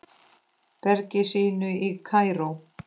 bergi sínu í Kaíró.